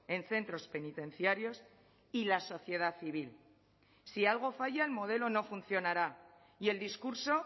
en centros penitenciarios y la sociedad civil si algo falla el modelo no funcionará y el discurso